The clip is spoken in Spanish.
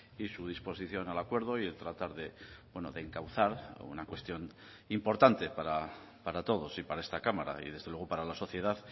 y su disposición al acuerdo y el tratar de encauzar una cuestión importante para todos y para esta cámara y desde luego para la sociedad